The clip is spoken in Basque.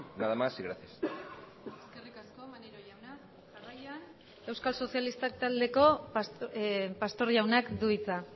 nada más y gracias eskerrik asko maneiro jauna jarraian euskal sozialistak taldeko pastor jaunak du hitza